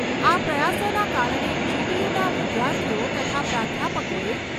આ પ્રયાસોના કારણે જી.ટી.યુ. ના વિદ્યાર્થીઓ તથા પ્રાધ્યાપકોએ